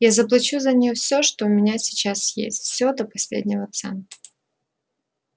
я заплачу за неё всё что у меня сейчас есть всё до последнего цента